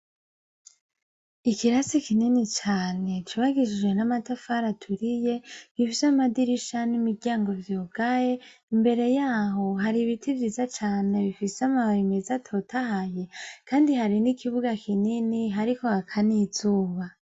Ikirasi kinini cane cubakishijwe n' amatafari aturiye, gifise amadirisha n' imiryango vyugaye, imbere yaho hari ibiti vyiza cane bifise amababi meza atotahaye, kandi hari n' ikibuga kinini, hariko haka n' izuba.